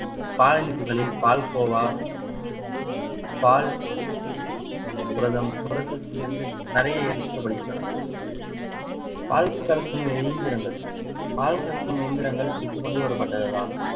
பாலனிப்புகளில் பால்கோவா பால் புரதம் புரதத்திலிருந்து நிறைய எடுக்கப்படுகின்றன பால் கறக்கும் எந்திரங்கள் பால் கறக்கும் இயந்திரங்கள் இப்ப கொண்டுவரப்பட்டதுதான்